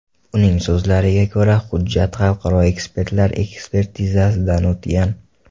Uning so‘zlariga ko‘ra, hujjat xalqaro ekspertlar ekspertizasidan o‘tgan.